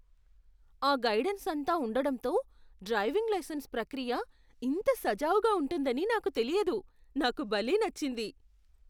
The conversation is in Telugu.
ఆ గైడెన్స్ అంతా ఉండడంతో డ్రైవింగ్ లైసెన్స్ ప్రక్రియ ఇంత సజావుగా ఉంటుందని నాకు తెలియదు. నాకు భలే నచ్చింది!